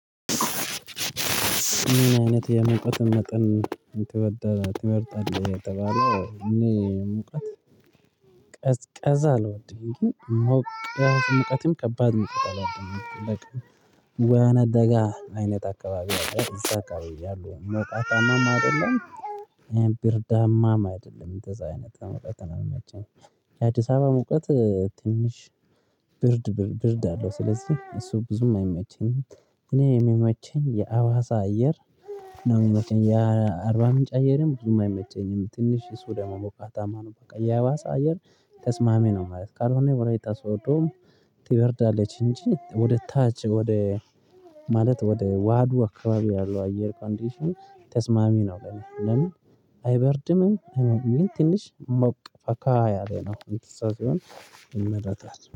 ምን አይነት የሙቀት መጠን ትወዳ ትመርጣለህ የተባለው? እኔ ሙቀት ቀዝቀዛ አልወድም ግን ምቃት ሙቀትም ከባድ ሙቀት አልዎድምበቃ ወይናደጋ አይነት አካባቢ አለ እዛ አካባቢ ያሉ ሞቃታማም አይደለም ብርዳማም አይደለም እንደዛ አይነት ሙቀት ነው የሚመቸኝ። የአዲስ አበባ ሙቀት ትንሽ ብርድ ብርድ አለው ስለዚህ እሱ ብዙም አይመቸ ኝም እኔ የሚመቸኝ የአዋሳ አየር። ነው የሚመቸኝ ያ አርባ ምንጭ አየርም ብዙም አይመቸኝም ትንሽ እሱ ደግም ሞቃታማ ነው። በቃ የአዋሳ አየር ተስማሚ ነው። ማለት ካልሆነ የወላይታ ሶዶ ትበርዳለች እንጂ ወደ ታች ወደ ማለት ወደ ዋህዱ አካባቢ ያለው አየር ኮንዲሽን ተስማሚ ነው ለኔ ለምን? አይበርድምም ትንሽ ሞቅ ፈካ ያለ ነው እንትን ሰው ሲሆን ይመረጣል